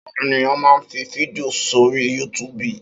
Áwòn éniyàn mà n fi fídìó sóri yútúbú